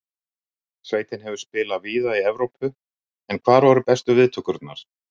Sveitin hefur spilað víða í Evrópu, en hvar voru bestu viðtökurnar?